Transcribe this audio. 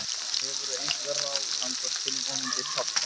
Hefurðu einhver ráð handa tilvonandi pabba?